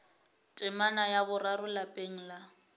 temana ya boraro lapeng la